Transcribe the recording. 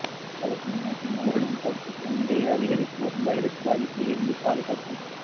ஆலோசனைநாட்டில் ஊரடங்கு தளர்த்தப்படும் நிலையில் அதிகரித்து வரும் வைரஸ் பாதிப்பில் இருந்து பாதுகாக்கும்